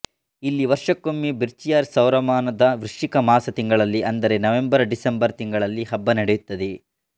ಇಲ್ಲಿ ವರ್ಷಕ್ಕೊಮ್ಮೆ ಬಿರ್ಚಿಯಾರ್ ಸೌರಮಾನ ದ ವೃಶ್ಚಿಕ ಮಾಸ ತಿಂಗಳಲ್ಲಿ ಅಂದರೆ ನವಂಬರ್ ಡಿಸೆಂಬರ್ ತಿಂಗಳಲ್ಲಿ ಹಬ್ಬ ನಡೆಯುತ್ತದೆ